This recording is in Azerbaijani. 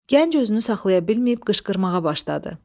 Gənc özünü saxlaya bilməyib qışqırmağa başladı.